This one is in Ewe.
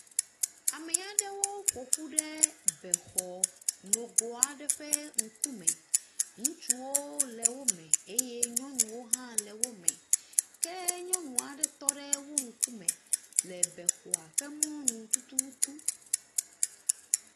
Ame aɖewo ƒo ƒu ɖe be xɔ nogo aɖe ƒe ŋkume, ŋutsuwo le wo me eye nyɔnuwo hã le wo me, ke nyɔnu aɖe tɔ ɖe wo ŋkume le bexɔa ƒe mɔnu tututu.